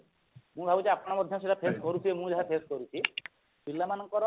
ମୁଁ ଭାବୁଛି ଆପଣ ମଧ୍ୟ ସେଟ face କରୁଥିବେ ମୁଁ ଯାହା face କରୁଛି ପିଲାମାନଙ୍କର